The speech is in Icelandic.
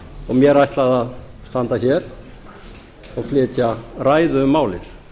og mér ætlað að standa hér og flytja ræðu um málið